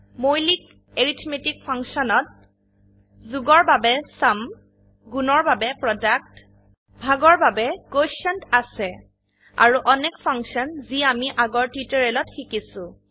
মৌলিক arithmetic function ত • যোগ এৰ বাবে চুম • গুন এৰ বাবে প্ৰডাক্ট • ভাগ এৰ বাবে কোটিয়েণ্ট আছে • আৰো অনেক ফাংশন যি আমি আগৰ টিউটোৰিয়েলত শিকিছো